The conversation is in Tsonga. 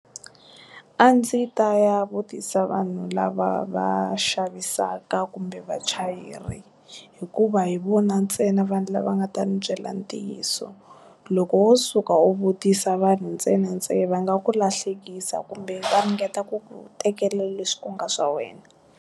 A ndzi ta ya vutisa vanhu lava va xavisaka kumbe vachayeri hikuva hi vona ntsena vanhu lava nga ta ni byela ntiyiso loko wo suka u vutisa vanhu ntsenantsena va nga ku lahlekisa kumbe ta ringeta ku tekela leswi ku nga swa wena.